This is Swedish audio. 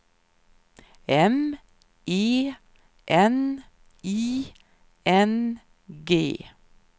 M E N I N G